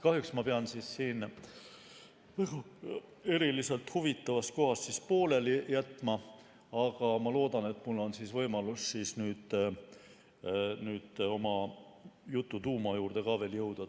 Kahjuks pean siin eriliselt huvitavas kohas pooleli jätma, aga ma loodan, et mul on võimalus täna ka oma jutu tuuma juurde jõuda.